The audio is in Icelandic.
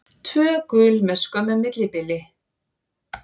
Tvö gul með skömmu millibili.